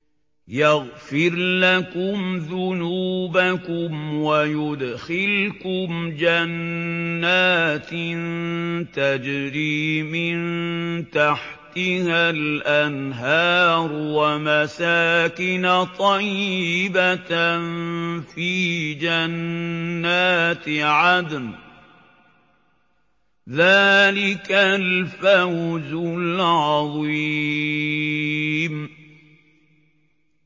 يَغْفِرْ لَكُمْ ذُنُوبَكُمْ وَيُدْخِلْكُمْ جَنَّاتٍ تَجْرِي مِن تَحْتِهَا الْأَنْهَارُ وَمَسَاكِنَ طَيِّبَةً فِي جَنَّاتِ عَدْنٍ ۚ ذَٰلِكَ الْفَوْزُ الْعَظِيمُ